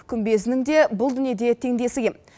күмбезінің де бұл дүниеде теңдесі кем